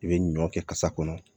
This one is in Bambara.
I bɛ ɲɔ kɛ kasa kɔnɔ